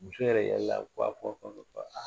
Muso yɛrɛ yɛlɛla kuwa kuwa kuwa.